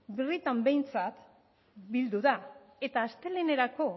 birritan behintzat bildu da eta astelehenerako